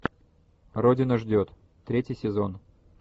родина ждет третий сезон